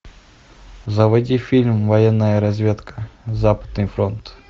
заводи фильм военная разведка западный фронт